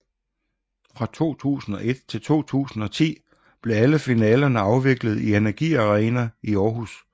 Fra 2001 til 2010 blev alle finalerne afviklet i NRGi Arena i Århus